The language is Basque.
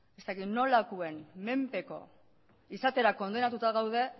ez dakit nolakoen menpeko izatera kondenatuta gaude